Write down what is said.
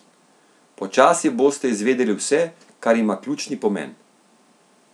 Počasi boste izvedeli vse, kar ima ključni pomen.